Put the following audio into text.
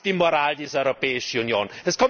Das ist die Moral dieser Europäischen Union!